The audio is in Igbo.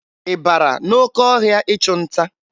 Ị bara n'oke ọhịa ịchụ nta?